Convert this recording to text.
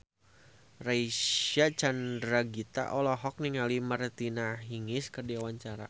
Reysa Chandragitta olohok ningali Martina Hingis keur diwawancara